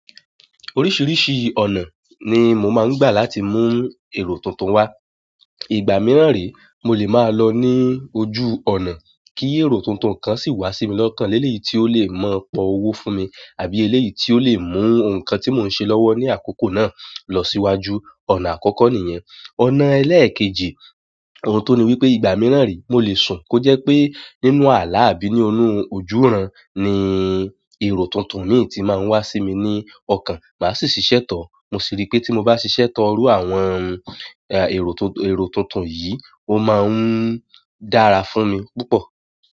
Oríṣìíríṣìí ọ̀nà ni mo máa ń gbà láti mú èrò tuntun wá. Ìgbà míràn re, mo lè máa lọ ní ojú ọ̀nà, kí èrò tuntun kan sì wá sí mi lọ́kàn. Eléyìí tí ó lè maa pọ̀ owó fún mi àbí eléyìí tí ó lè mú nǹkan tí mò ń ṣe lọ́wọ́ ní àkókò náà lọ síwájú. Ọ̀nà àkọ́kọ́ nìyẹn. Ọ̀nà ẹlẹ́ẹ̀kejì, ohun tun ní wípé ìgbà míràn re, mo lè sùn kó jẹ́ pé nínú ààlà àbí nínú ojúuran ni èrò tuntun mìí tí máa ń wá sí mi ní ọkàn. Máa sì ṣiṣẹ́ to. Mo sì rí pé tí mo bá ṣiṣẹ́ to irú àwọn èrò tuntun yìí, ó máa ń dára fún mi púpọ̀.